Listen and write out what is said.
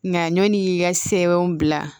Nka ɲɔn ka sɛbɛnw bila